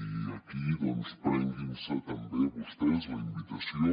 i aquí doncs prenguinse també vostès la invitació